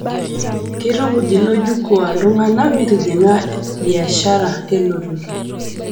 Keitukuj ilo jukwaa ltung'ana metijing'a biashara e lototo